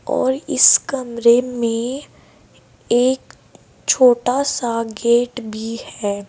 और इस कमरे में एक छोटा सा गेट भी है।